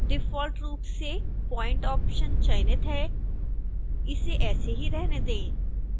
default रूप से point option चयनित है इसे ऐसे ही रहने दें